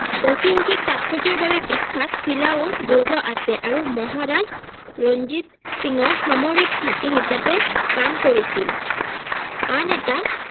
ঐতিহাসিক তাৎপৰ্যৰ বাবে বিখ্যাত চিলাউৰ দূৰ্গ আছে আৰু মহাৰাজ ৰঞ্জিত সিং ৰ সামৰিক ঘাটি হিচাপে কাম কৰিছিল আন এটা